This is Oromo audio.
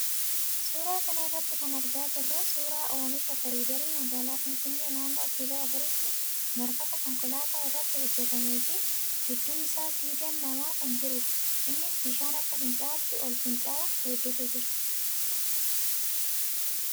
Suuraa kana irraa kan argaa jirru suuraa oomisha koriidarii magaalaa finfinnee naannoo kiiloo afuriitti marfata konkolaataa irratti hojjatamee fi gidduu isaa siidaan namaa kan jirudha. Innis bishaan akka fincaa'aatti ol fincaa'u hedduutu jira.